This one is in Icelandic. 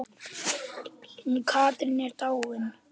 Hún Katrín er dáin.